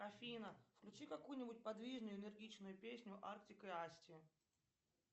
афина включи какую нибудь подвижную энергичную песню артик и асти